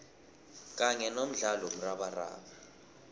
kanye nomdlalo womrabaraba